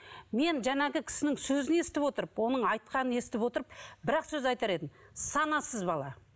мен жаңағы кісінің сөзін естіп отырып оның айтқанын естіп отырып бірақ сөз айтар едім санасыз бала